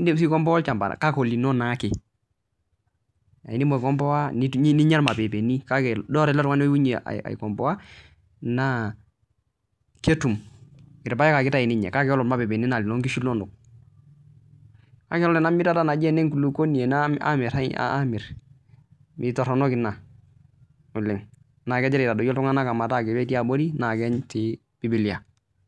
edim aikompoa olchamba naa olino naa ake ninyia irmalepeni kake ore ele tung'ani oyewuo aikomboa naa irpaek ake etayu ninye kake ore irmapepita naa eloo nkishu enono kake ore emirata naa kitorrono ena oleng naa kegira aitadoyio iltung'ana metaa ketii abori naa ketii bibilia